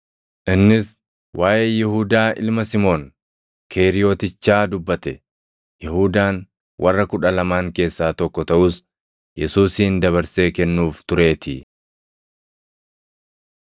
Innis waaʼee Yihuudaa ilma Simoon Keeriyotichaa dubbate; Yihuudaan warra Kudha Lamaan keessaa tokko taʼus Yesuusin dabarsee kennuuf tureetii!